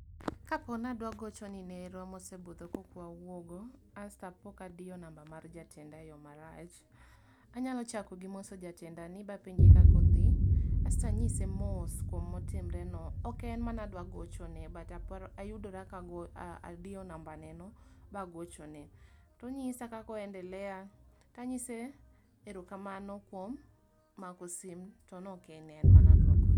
Kapo nadwa gocho ne nerwa mosebudho kok wawuo go, asto apo kadiyo namba mar jatenda e yo marach, anyalo chako gi moso jatenda bapenje kaka adhi. Asto anyise mos kuom motimre no. Ok en mane adwa gocho ne but aparo ayudora ka adiyo namba ne no bagocho ne. Tonyisa kaka o endelea, tanyise ero kamano kuom mako sim to nok en en mane adwa gocho ne.